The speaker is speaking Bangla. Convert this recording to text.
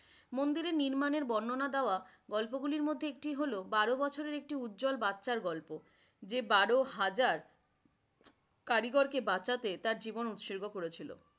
মন্দিরের নির্মাণের বর্ণনা দেওয়া গল্পগুলির মধ্যে একটি হলো, বারো বছরের একটি উজ্জ্বল বাচ্চার গল্প। যে বারো হাজার কারিগরকে বাঁচাতে তার জীবন উৎসর্গ করেছিলো।